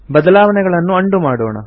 ಬದಲಾವಣೆಗಳನ್ನು ಅಂಡು ಮಾಡೋಣ